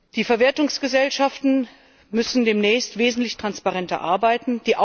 Die Verwertungsgesellschaften müssen demnächst wesentlich transparenter arbeiten.